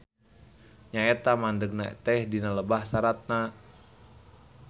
Nya eta mandegna teh dina lebah saratna.